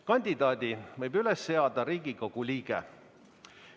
Kandidaadi võib üles seada Riigikogu liige.